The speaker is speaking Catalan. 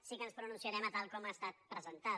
sí que ens pronunciarem a tal com ha estat presentada